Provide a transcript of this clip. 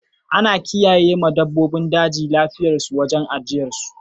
Ana kiyaye ma dabbobin daji lafiyar su a wurin ajiyar su.